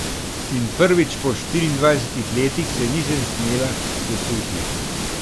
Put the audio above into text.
In prvič po štiriindvajsetih letih se nisem smela sesuti.